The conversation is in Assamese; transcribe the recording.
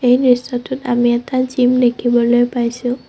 এই দৃশ্যটোত আমি এটা জিম দেখিবলৈ পাইছোঁ।